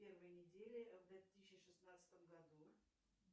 первой недели в две тысячи шестнадцатом году